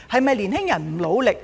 青年人是否不努力？